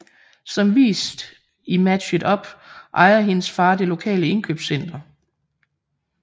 Som vist i Match It Up ejer hendes far det lokale indkøbscenter